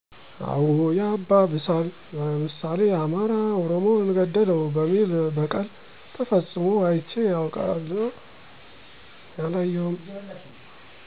አዎ ያባብሳል፣ ለምሳሌ አማራ ኦሮሞን ገደለው በሚል በቀል ተፈፅሞ አይቼ አውቃለሁ።